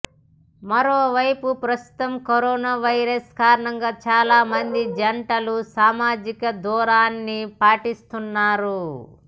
మరోవైపు ప్రస్తుతం corona virus కారణంగా చాలా మంది జంటలు సామాజిక దూరాన్ని పాటిస్తున్నారు